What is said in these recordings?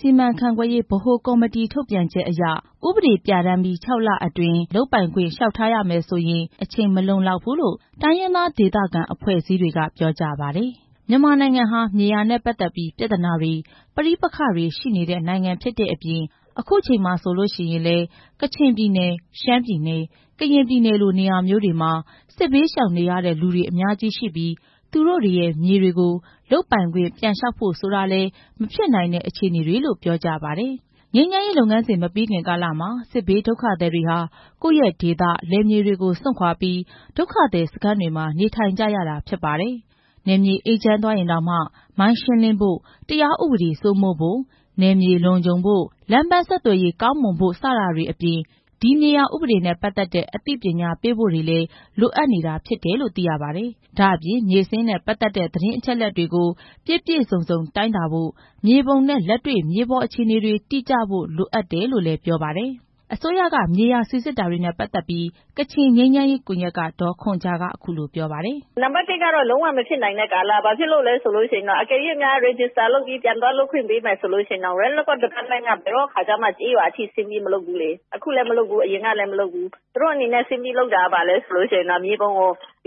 စီမံခန့်ခွဲရေး ဗဟိုကော်မတီထုတ်ပြန်ချက်အရ ဥပဒေပြဌာန်းပြီး ၆ လအတွင်း လျှောက်ထားရမယ်ဆိုရင် အချိန်မလုံလောက်ဘူးလို့ တိုင်းရင်းသားဒေသခံ အဖွဲ့အစည်းတွေက ပြောကြပါတယ်။ မြန်မာနိုင်ငံဟာ မြေယာနဲ့ပတ်သက်ပြီး ပြဿာနာတွေ၊ ပဋိပက္ခတွေရှိနေတဲ့ နိုင်ငံဖြစ်တဲ့အပြင် အခုချိန်မှာ ဆိုရင်လည်း ကချင်ပြည်နယ်၊ ရှမ်းပြည်နယ်၊ ကရင်ပြည်နယ်လို နေရာမျိုးတွေမှာ စစ်ဘေးရှောင်နေရတဲ့သူတွေ အများကြီးရှိပြီး သူတို့တွေရဲ့ မြေတွေကို လုပ်ပိုင်ခွင့်ပြန်လျှောက်ဖို့ဆိုတာလည်း မဖြစ်နိုင်တဲ့အခြေအနေတွေလို့လည်း ပြောပါတယ်။ ငြိမ်းချမ်းရေးလုပ်ငန်းစဉ် မပြီးခင်ကာလမှာ စစ်ဘေးဒုက္ခသည်တွေဟာ ကိုယ့်ရဲ့ဒေသ၊ လယ်မြေတွေကို စွန့်ခွာပြီး ဒုက္ခသည်စခန်းတွေမှာ နေထိုင်နေကြရတာဖြစ်ပါတယ်။ နယ်မြေအေးချမ်းသွားရင်တောင်မှ မိုင်းရှင်းလင်းဖို့ ၊ တရားဥပဒေစိုးမိုးဖို့၊ နယ်မြေလုံခြုံဖို့၊ လမ်းပန်းဆက်သွယ်ရေးကောင်းမွန်ဖို့ စတာတွေအပြင် ဒီမြေယာဥပဒေနဲ့ ပတ်သက်တဲ့ အသိပညာပေးဖို့တွေလည်း လိုအပ်နေတာဖြစ်တယ်လို့ သိရပါတယ်။ ဒ့ါအပြင် မြေစာရင်းနဲ့ ပတ်သက်တဲ့ သတင်းအချက်လက်တွေကို ပြည့်ပြည့်စုံစုံ တိုင်းတာဖို့၊ မြေပုံနဲ့ လက်တွေ့ မြေပေါ်အခြေအနေတွေ တိကျဖို့ လိုအပ်တယ်လို့လည်း ပြောပါတယ်။ အစိုးရက မြေယာစိစစ်တာတွေနဲ့ ပတ်သက်ပြီး ကချင်ငြိမ်းချမ်းရေးကွန်ယက်က ဒေါ်ခွန်ဂျာက အခုလို ပြောပါတယ်။ "နံပါတ် ၁ က လုံးဝမဖြစ်နိုင်တဲ့ကာလ။ ဘာဖြစ်လို့လဲဆိုတော့ အကယ်လို့ Register လုပ်ပြီး ပြန်သွားလုပ်ခွင့် ပေးမယ်ဆိုရင်တောင် Land Record Department က ဘယ်တော့မှ ကျေးရွာအထိ ဆင်းပြီးမလုပ်ဘူးလေ။ အခုလည်းမလုပ်ဘူး အရင်ကလည်း မလုပ်ဘူး။ သူတို့အနေနဲ့ ဆင်းပြီးလုပ်တာက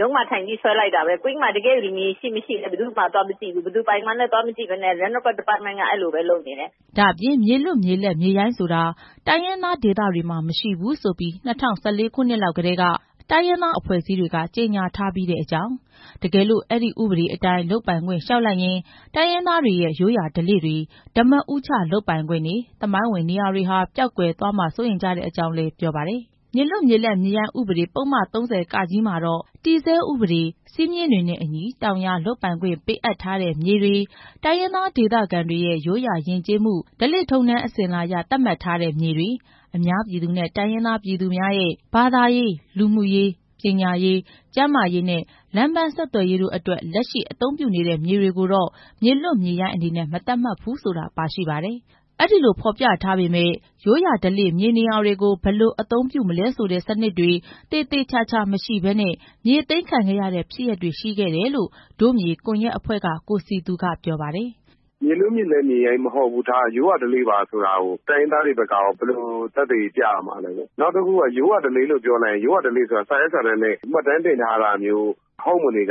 ရုံးမှာထိုင်ပြီး မြေပုံ ဆွဲလိုက်တာပဲ။ ကွင်းမှာ ရှိမရှိ ဆင်းမကြည့်ဘူး။ ဘယ်သူပိုင်မှန်းမသိဘဲ အဲ့ဒီလိုလုပ်နေတယ်" ဒါ့အပြင် မြေလွတ်မြေလပ်မြေရိုင်းဆိုတာ တိုင်းရင်းသားဒေသတွေမှာ မရှိဘူးဆိုပြီး ၂၀၁၄ ခုနှစ်လောက်ကတည်းက တိုင်းရင်းသားအဖွဲ့အစည်းတွေက ကြေညာထားပြီးတဲ့အကြောင်း၊ တကယ်လို့ အဲ့ဒီဥပဒေအတိုင်း လုပ်ပိုင်ခွင့် လျှောက်လိုက်ရင် တိုင်းရင်းသားတွေရဲ့ ရိုးရာဓလေ့တွေ၊ ဓားမဦးချလုပ်ပိုင်ခွင့်တွေ၊ သမိုင်းဝင်နေရာတွေဟာ ပျောက်ကွယ်သွားမှာကို စိုးရိမ်ကြတဲ့အကြောင်းလည်း ပြောပါတယ်။ မြေလွတ်မြေလပ်မြေရိုင်းဥပဒေ ပုဒ်မ ၃၀ (က) မှာတော့ တည်ဆဲဥပဒေ၊ စည်းမျဉ်းတွေနဲ့အညီ တောင်ယာလုပ်ပိုင်ခွင့် ပေးအပ်ထားတဲ့မြေတွေ၊ ဒေသခံတိုင်းရင်းသားတွေရဲ့ ရိုးရာယဉ်ကျေးမှု ဓလေ့ထုံးတမ်းအစည်းအလာအရ သတ်မှတ်ထားတဲ့မြေတွေ၊ အများပြည်သူနဲ့ တိုင်းရင်းသားများရဲ့ ဘာသာရေး၊ လူမှုရေး၊ ပညာရေး၊ ကျန်းမာရေးနဲ့ လမ်းပန်းဆက်သွယ်ရေးတို့အတွက် လက်ရှိ အသုံးပြုနေတဲ့မြေတွေကိုတော့ မြေလွတ်မြေရိုင်းအနေနဲ့ မသတ်မှတ်ဘူးဆိုတာ ပါရှိပါတယ်။ ဒါပေမဲ့ အဲဒီလိုဖော်ပြထားပေမယ့် ရိုးရာဓလေ့မြေနေရာတွေကို ဘယ်လိုအသိမှတ်ပြုမလဲဆိုတဲ့စနစ်တွေ သေသေချာချာမရှိဘဲနဲ့ မြေသိမ်းခံခဲ့ရတဲ့ ဖြစ်ရပ်တွေရှိခဲ့တယ်လို့ ဒို့မြေကွန်ယက်အဖွဲ့က ကိုစည်သူက ပြောပါတယ်။ "မြေလွတ်မြေလပ် မြေရိုင်းမဟုတ်ဘူးထား၊ ရိုးရာဓလေ့ပါဆိုတာကို တိုင်းရင်းသားတွေဘက်က ဘယ်လို သက်သေပြရမလဲ။ နောက်တစ်ခုက ရိုးရာဓလေ့ဆိုတာ စာရွက်စာတမ်းနဲ့ မှတ်တမ်းတင်ထားတာ မဟုတ်တဲ့အ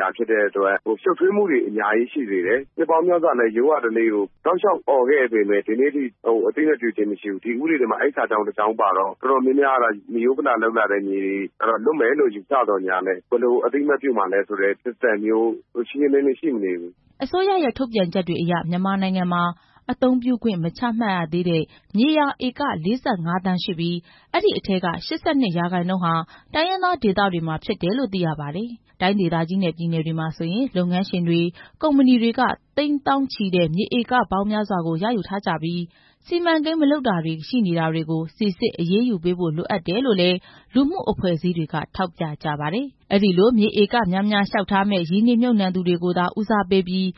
တွက် ရှုပ်ထွေးမှုတွေ အများကြီးရှိစေတယ်။ နှစ်ပေါင်းများစွာ ရိုးရာဓလေ့ကို အော်ခဲ့ပေမယ့် အခုချိန်အထိ အသိမှတ်ပြုတာမရှိဘူး။ ဒီဥပဒေမှာ အဲ့ဒီစာကြောင်းပါလို့ တော်တော်များများက လွတ်မယ်လို့ ယူဆပေမယ့် ဘယ်လိုအသိမှတ်ပြုမှာလဲဆိုတဲ့ System မျိုး ရှင်းရှင်းလင်းလင်း မရှိဘူး" အစိုးရရဲ့ ထုတ်ပြန်ချက်တွေအရ မြန်မာနိုင်ငံမှာ အသုံးပြုခွင့် မချမှတ်ရသေးတဲ့ မြေယာဧက ၄၅ သန်းရှိပြီး အဲ့ဒီ အထဲက ၈၂ ရာခိုင်နှုန်းဟာ တိုင်းရင်းသားဒေသတွေမှာဖြစ်တယ်လို့ သိရပါတယ်။ တိုင်းဒေသကြီးနဲ့ ပြည်နယ်တွေမှာဆိုရင် လုပ်ငန်းရှင်တွေ၊ ကုမ္ပဏီတွေက သိန်း၊ သောင်းချီတဲ့ မြေဧကပေါင်း များစွာကို ရယူထားကြပြီး စီမံကိန်းမလုပ်တာတွေရှိနေတာတွေကို စိစစ်အရေးယူပေးဖို့ လိုအပ်တယ်လို့လည်း လူမှုအဖွဲ့အစည်းတွေက ထောက်ပြကြပါတယ်။ အဲ့ဒီလို မြေဧကများများ လျှောက်ထားမယ့် ရင်းနှီးမြှုပ်နှံသူတွေကိုသာ ဦးစားပေးပြီး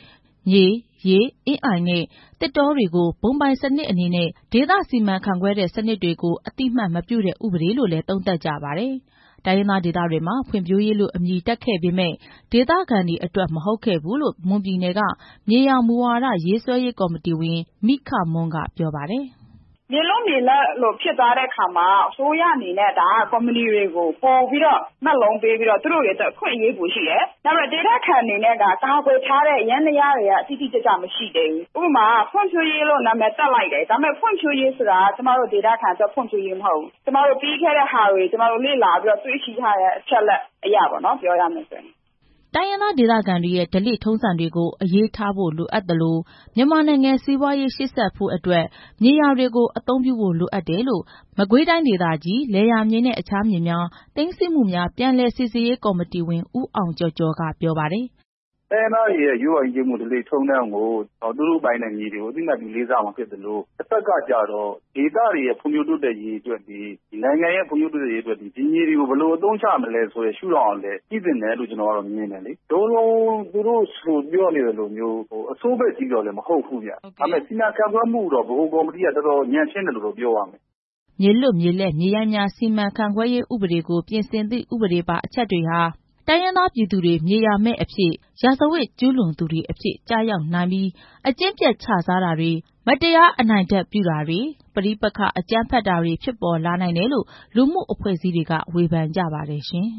မြေ၊ ရေ၊ အင်းအိုင်နဲ့ သစ်တောတွေကို ဘုံပိုင်စနစ်အနေနဲ့ ဒေသစီမံခန့်ခွဲတဲ့စနစ်တွေကို အသိအမှတ်မပြုတဲ့ ဥပဒေလို့လည်း သုံးသပ်ကြပါတယ်။ တိုင်းရင်းသားဒေသတွေမှာ ဖွံ့ဖြိုးရေးလို့ အမည်တပ်ခဲ့ပေမယ့် ဒေသခံတွေအတွက် မဟုတ်ခဲ့ဘူးလို့ မွန်ပြည်နယ်က မြေယာမူဝါဒ ရေးဆွဲရေးကော်မတီဝင် မိခမွန်းက ပြောပါတယ်။ "မြေလွတ်မြေရိုင်းဖြစ်သွားတဲ့အခါမှာ အစိုးရအနေနဲ့ ကုမ္ပဏီတွေကို မက်လုံးပေးပြီးတော့ အခွင့်အရေး ပိုရှိတယ်။ ဒါပေမဲ့ ဒေသခံတွေအတွက်က ကာကွယ်ထားတဲ့ ယန္တရား တိတိကျကျ မရှိသေးဘူး။ ဖွံ့ဖြိုးရေးလို့ နာမည် တပ်လိုက်တယ်။ ဒါပေမဲ့ ဖွံ့ဖြိုးရေးက ဒေသခံအတွက် ဖွံ့ဖြိုးရေးမဟုတ်ဘူး။ ကျမတို့ ပြီးခဲ့တာတွေကို လေ့လာထားတဲ့ အချက်လက်ရပေါ့နော်။ ပြောရမယ်ဆိုရင်" တိုင်းရင်းသားဒေသခံတွေရဲ့ ဓလေ့ထုံးစံတွေကို အရေးထားဖို့ လိုအပ်သလို မြန်မာနိုင်ငံ စီးပွားရေး ရှေ့ဆက်နိုင်ဖို့ အတွက် မြေယာတွေကို အသုံးပြုဖို့ လိုအပ်တယ်လို့ မကွေးတိုင်းဒေသကြီး လယ်ယာမြေနဲ့ အခြားမြေများ သိမ်းဆည်းမှုများ ပြန်လည်စိစစ်ရေးကော်မတီဝင် ဦးအောင်ကျော်ကျော်က ပြောပါတယ်။ "တိုင်းရင်းသားတွေရဲ့ ရိုးရာဓလေ့ကို အသိမှတ်ပြုဖို့လိုအပ်သလို တဖက်ကကျတော့ ဒေသတွေရဲ့ ဖွံ့ဖြိုး တိုးတက်ဖို့၊ နိုင်ငံရဲ့ ဖွံ့ဖြိုးတိုးတက်ဖို့ ဒီမြေတွေကို ဘယ်လိုအသုံးချရမလဲဆိုတဲ့ ရှုထောင့်ကလည်း ကြည့်သင့်တယ်လို့ ကျနော်ကမြင်တယ်။ သူတို့ပြောသလို အဆိုးဘက်ချည်းတော့လည်း မဟုတ်ဘူးဗျ။ ဒါပေမဲ့ စီမံခန့်ခွဲမှုက ဗဟိုကော်မတီက တော်တော်ညံ့ဖျင်းတယ်လို့ ပြောရမယ်" မြေလွတ်မြေလပ်မြေရိုင်းများ စီမံခန့်ခွဲရေးဥပဒေကို ပြင်ဆင်သည့် ဥပဒေပါအချက်တွေဟာ တိုင်ရင်းသား ပြည်သူတွေ မြေယာမဲ့အဖြစ်၊ ရာဇဝတ် ကျူးလွန်သူတွေအဖြစ် ကျရောက်နိုင်ပြီး အကျင့်ပျက်ခြစားတာတွေ၊ မတရား အနိုင်ထက်ပြုတာတွေ၊ ပဋိပက္ခအကြမ်းဖက်တာတွေ ဖြစ်ပေါ်လာနိုင်တယ်လို့ လူမှုအဖွဲ့အစည်းတွေက ဝေဖန်ကြပါတယ်ရှင်။